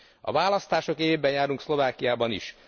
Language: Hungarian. A választások évében járunk Szlovákiában is.